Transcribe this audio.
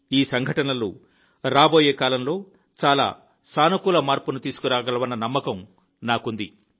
ఈ సంఘటనలు రాబోయే కాలంలో చాలా సానుకూల మార్పును తీసుకురాగలవన్న నమ్మకం నాకుంది